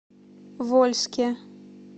вольске